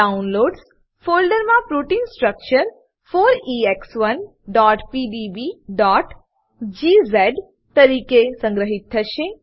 downloads ફોલ્ડરમા protein structure 4ex1pdbજીઝ તરીકે સંગ્રહિત થશે